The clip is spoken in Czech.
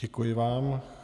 Děkuji vám.